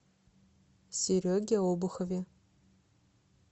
сереге обухове